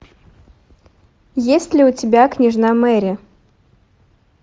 есть ли у тебя княжна мэри